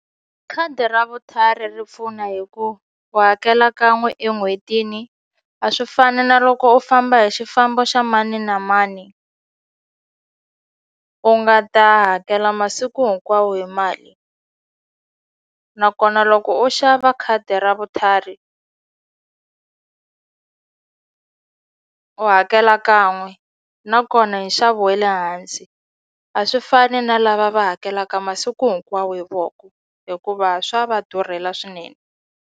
Khadi ra vutlhari ri pfuna hi ku u hakela kan'we en'hwetini a swi fani na loko u famba hi xifambo xa mani na mani u nga ta hakela masiku hinkwawo hi mali nakona loko u xava khadi ra vutlhari u hakela kan'we nakona hi nxavo wa le hansi a swi fani na lava va hakelaka masiku hinkwawo hi voko hikuva swa va durhela swinene.